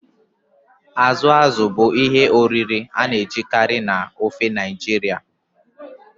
Azụ azụ̀ bụ ihe oriri a na-ejikarị na ofe Naijiria.